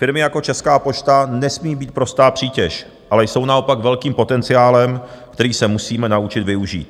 Firmy jako Česká pošta nesmí být prostá přítěž, ale jsou naopak velkým potenciálem, který se musíme naučit využít.